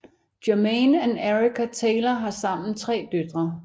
Jermain og Erica Taylor har sammen tre døtre